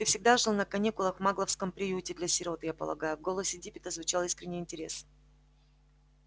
ты всегда жил на каникулах в магловском приюте для сирот я полагаю в голосе диппета звучал искренний интерес